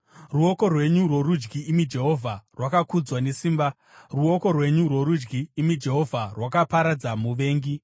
“Ruoko rwenyu rworudyi, imi Jehovha, rwakakudzwa nesimba. Ruoko rwenyu rworudyi, imi Jehovha, rwakaparadza muvengi.